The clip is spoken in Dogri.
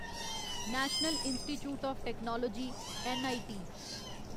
national institutes of technology NIT